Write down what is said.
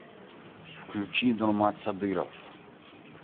включи нурмат садыров